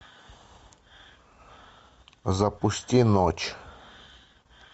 запусти ночь